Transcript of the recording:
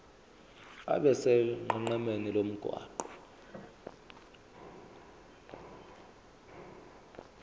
abe sonqenqemeni lomgwaqo